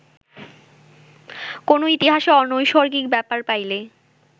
কোন ইতিহাসে অনৈসর্গিক ব্যাপার পাইলে